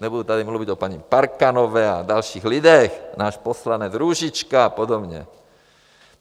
Nebudu tady mluvit o paní Parkanové a dalších lidech, náš poslanec Růžička a podobně.